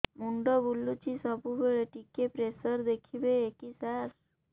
ମୁଣ୍ଡ ବୁଲୁଚି ସବୁବେଳେ ଟିକେ ପ୍ରେସର ଦେଖିବେ କି ସାର